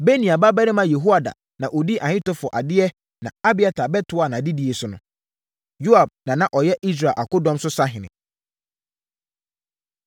Benaia babarima Yehoiada na ɔdii Ahitofel adeɛ na Abiatar bɛtoaa adedie no so. Yoab na na ɔyɛ Israel akodɔm so sahene.